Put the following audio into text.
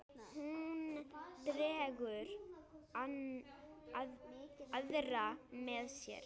Hún dregur aðra með sér.